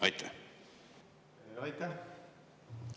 Aitäh!